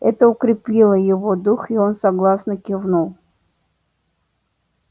это укрепило его дух и он согласно кивнул